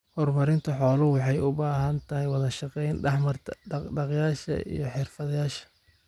Horumarinta xooluhu waxay u baahan tahay wada shaqayn dhex marta dhaq-dhaqaaqayaasha iyo xirfadlayaasha.